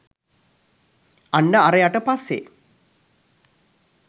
අන්න අරයට පස්සෙ